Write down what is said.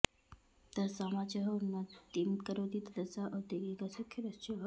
यदा समाजः उन्नतिं करोति तदा सः औद्योगिकः साक्षरश्च भवति